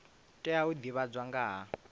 tea u divhadzwa nga ha